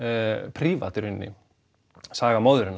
prívat í raun saga móðurinnar